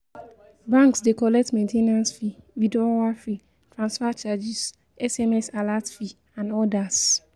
Banks de collect maintainance fee, withdrawal fee, transfer charges, SMS alert fee and odas